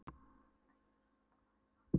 Ekki verður sagt annað en að